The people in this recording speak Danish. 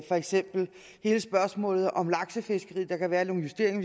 for eksempel hele spørgsmålet om laksefiskeriet der kan være nogle justeringer